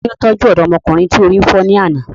Tani ó tọ́jú ọ̀dọ́mọkùnrin tí orí fọ́ ní àná?